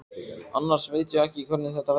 Annars veit ég ekki hvernig þetta verður.